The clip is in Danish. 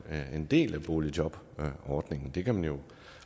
en del af boligjobordningen det kan man jo